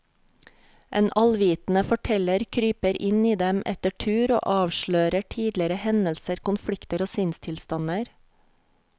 En allvitende forteller kryper inn i dem etter tur og avslører tidligere hendelser, konflikter og sinnstilstander.